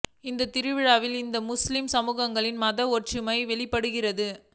இந்த திருவிழா இந்து மற்றும் முஸ்லிம் சமூகங்களின் மத ஒற்றுமையை வெளிப்படுத்துகிறது